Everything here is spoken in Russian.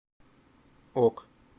ок